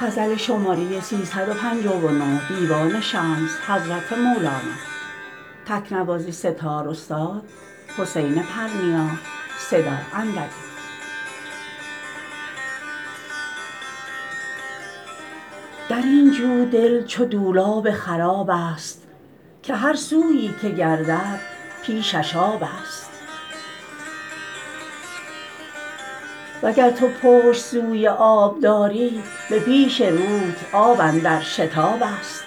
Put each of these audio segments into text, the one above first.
در این جو دل چو دولاب خرابست که هر سویی که گردد پیشش آبست وگر تو پشت سوی آب داری به پیش روت آب اندر شتابست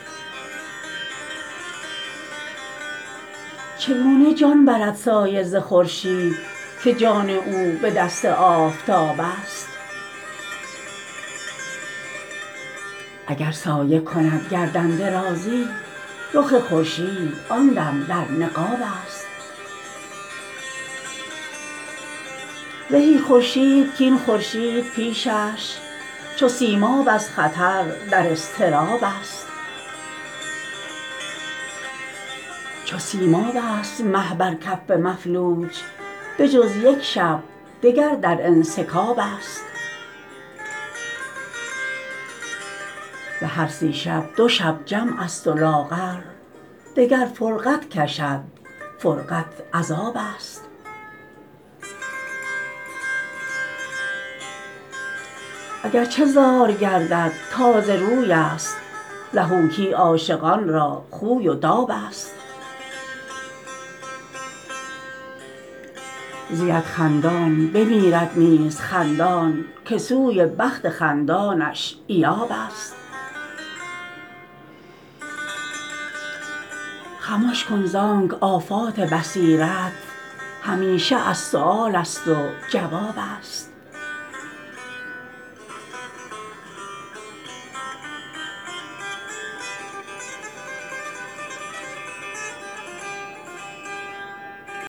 چگونه جان برد سایه ز خورشید که جان او به دست آفتابست اگر سایه کند گردن درازی رخ خورشید آن دم در نقابست زهی خورشید کاین خورشید پیشش چو سیماب از خطر در اضطرابست چو سیماب ست مه بر کف مفلوج بجز یک شب دگر در انسکابست به هر سی شب دو شب جمع ست و لاغر دگر فرقت کشد فرقت عذابست اگر چه زار گردد تازه روی ست ضحوکی عاشقان را خوی و دابست زید خندان بمیرد نیز خندان که سوی بخت خندانش ایابست خمش کن زانک آفات بصیرت همیشه از سؤالست و جوابست